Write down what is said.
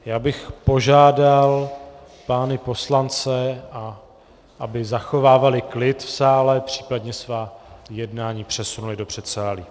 Já bych požádal pány poslance, aby zachovávali klid v sále, případně svá jednání přesunuli do předsálí.